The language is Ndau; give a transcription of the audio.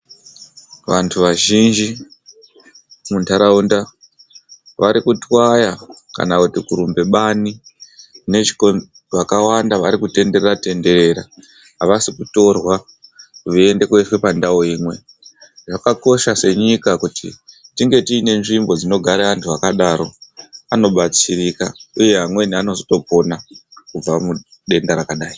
Vantu vazhinji mundaraunda vari kutwaya kana kuti kurumba bani nechikonzero vakawanda vari kutenderera tendera avasi kutorwa veyienda kundoiswa pandau imwe. Zvakakosha senyika kuti tinge tine ndau dzinogara vantu vakadaro vanobatsirika uye vamweni vanotozopona kubva mudenda rakadayi.